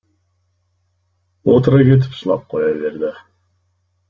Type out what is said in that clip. отыра кетіп жылап қоя берді